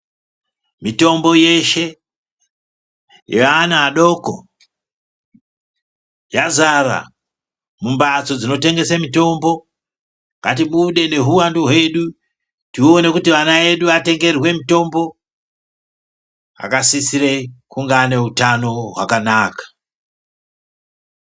Mitombo yeshe, yeana adoko ,yazara mumbats dzinotengese mitombo. Ngatibude nehuwandu hwedu, tione kuti vana edu atengerwe mitombo, akasisire kuti kunga ane utano hwakanaka.